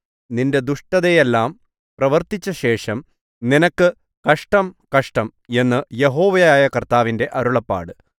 നിന്റെ ദുഷ്ടതയെല്ലാം പ്രവർത്തിച്ചശേഷം നിനക്ക് കഷ്ടം കഷ്ടം എന്ന് യഹോവയായ കർത്താവിന്റെ അരുളപ്പാട്